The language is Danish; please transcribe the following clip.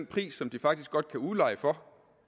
pris som de faktisk godt kan udleje for